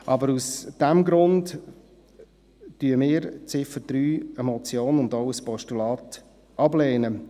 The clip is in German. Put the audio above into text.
Aber aus diesem Grund lehnen wir die Ziffer 3 als Motion und auch als Postulat ab.